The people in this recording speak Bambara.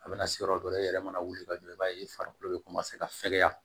A bɛna se yɔrɔ dɔ la e yɛrɛ mana wuli ka don i b'a ye farikolo bɛ ka fɛgɛya